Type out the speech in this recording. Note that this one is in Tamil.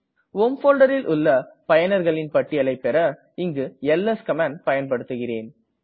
ஹோம் folderல் உள்ள பயனர்களின் பட்டியலை பெற இங்கு எல்எஸ் கமாண்டை பயன்படுத்துகிறேன்